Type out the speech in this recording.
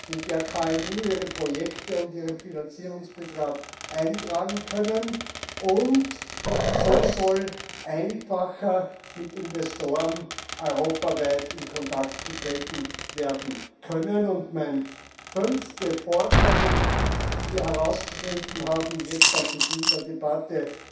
in der KMU ihre Projekte und ihren Finanzierungsbetrag eintragen können. So soll einfacher mit Investoren europaweit in Kontakt getreten werden können. Und meine fünfte Forderung, die wir jetzt am Beginn der Debatte